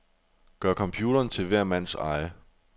Gør computeren til hver mands eje.